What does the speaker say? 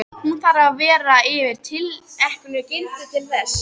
Hún þarf að vera yfir tilteknu gildi til þess.